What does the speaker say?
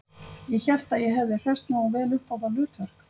Ég hélt að ég hefði hresst nógu vel upp á það hlutverk